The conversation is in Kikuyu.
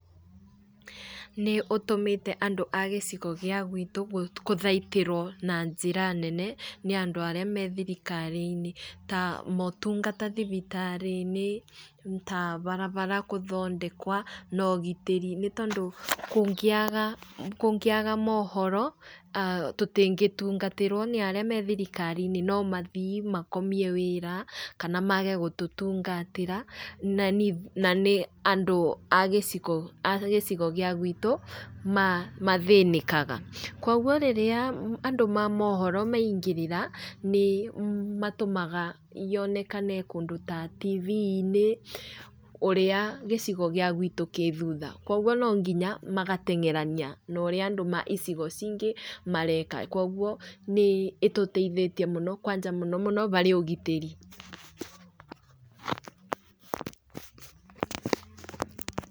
Nĩũtũmĩte andũ a gĩcigo gĩa gwitũ gũthaitĩrwo na njĩra nene ni andũ arĩa me thirikari-inĩ, ta motungata thibitarĩ-inĩ, ta barabara gũthondekwo, na ũgitĩri ni tondũ kũngĩaga mohoro, ah tutingĩtungatĩrwo nĩ arĩa me thirikari-inĩ no mathiĩ makomie wĩra kana mage gũtũtungatĩra, na nĩ andũ a gĩcigo gĩa gwitũ mathĩnĩkaga. Kogwo rĩrĩa andũ ma mohoro maingĩrĩra, nĩmatũmaga yonekane kũndũ ta tivi-inĩ ũrĩa gĩcigo gĩa gwitũ gĩ thutha. Kogwo no nginya magateng'erania na ũrĩa andũ ma icigo ingĩ mareka. Kogwo ĩtũteithĩtie mũno kwanja mũno mũno harĩ ũgitĩri.